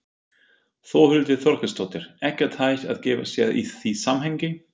Þórhildur Þorkelsdóttir: Ekkert hægt að gefa sér í því samhengi?